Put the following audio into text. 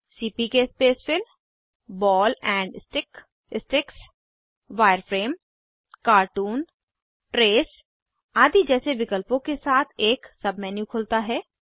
CPK spacefill ball and stick sticks wireframe cartoon trace आदि जैसे विकल्पों के साथ एक सब मेन्यू खुलता है